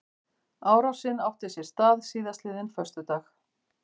Árásin átti sér stað síðastliðinn föstudag